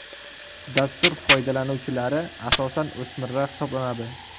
Dastur foydalanuvchilari asosan o‘smirlar hisoblanadi.